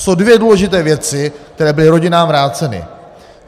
Jsou dvě důležité věci, které byly rodinám vráceny.